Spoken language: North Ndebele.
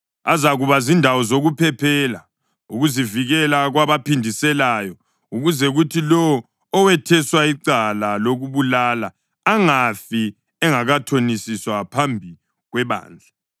Azakuba zindawo zokuphephela ukuzivikela kwabaphindiselayo, ukuze kuthi lowo owetheswa icala lokubulala angafi engakathonisiswa phambi kwebandla.